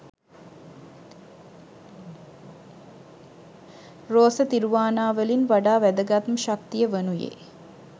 රෝස තිරුවානාවලින් වඩා වැදගත් ම ශක්තිය වනුයේ